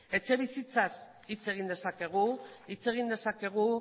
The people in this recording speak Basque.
etxebizitzaz hitz egin dezakegu hitz egin dezakegu